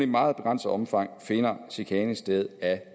meget begrænset omfang finder chikane sted af